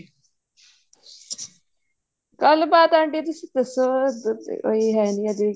ਗੱਲ ਬਾਤ ਆਂਟੀ ਤੁਸੀਂ ਦੱਸੋ ਇੱਧਰ ਤੇ ਕੋਈ ਹੈ ਨਹੀਂ ਅਜੇ